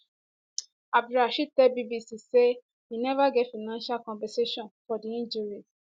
abdulrasheed tell bbc say im neva get financial compensation for di injuries